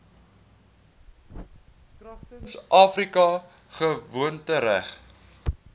kragtens afrika gewoontereg